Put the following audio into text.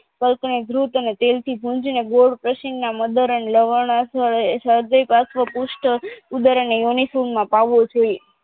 કલ્પનો વૃત અને તેલથી ભુંજી ને ગોળ પ્રસિનના મદર્ણ લવણ કૂસ્ઠ ઉદર અને યોનીકુન માં પાવો જોઈએ